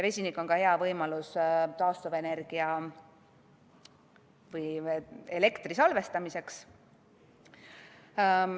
Vesinik annab ka hea võimaluse elektrit salvestada.